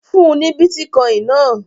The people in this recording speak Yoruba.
Fún ní bítíkọ́ìn náà!